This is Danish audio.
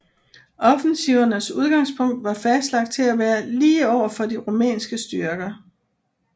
Offensivernes udgangspunkt var fastlagt til at være lige over for de rumænske styrker